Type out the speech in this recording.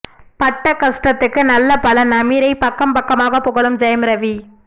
பட்ட கஷ்டத்துக்கு நல்ல பலன் அமீரை பக்கம் பக்கமாக புகழும் ஜெயம் ரவி